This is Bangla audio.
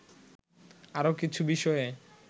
আরো কিছু বিষয়ে